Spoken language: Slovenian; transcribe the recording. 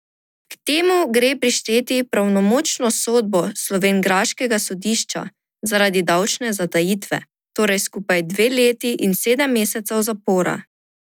K temu gre prišteti pravnomočno sodbo slovenjgraškega sodišča zaradi davčne zatajitve, torej skupaj dve leti in sedem mesecev zapora.